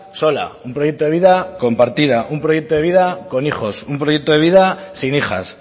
sola un proyecto de vida compartida o un proyecto de vida con hijos un proyecto de vida sin hijas